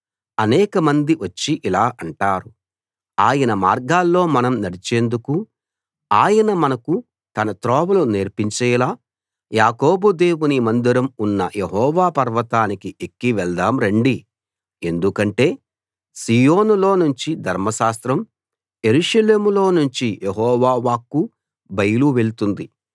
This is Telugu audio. అనేక మంది వచ్చి ఇలా అంటారు ఆయన మార్గాల్లో మనం నడిచేందుకు ఆయన మనకు తన త్రోవలు నేర్పించేలా యాకోబు దేవుని మందిరం ఉన్న యెహోవా పర్వతానికి ఎక్కి వెళ్దాం రండి ఎందుకంటే సీయోనులో నుంచి ధర్మశాస్త్రం యెరూషలేములో నుంచి యెహోవా వాక్కు బయలు వెళ్తుంది